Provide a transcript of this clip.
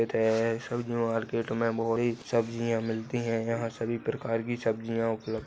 सब्जी मार्केट मे सब्जीया मिलती है यहाँ सभी प्रकार की सब्जीया उपलब्ध--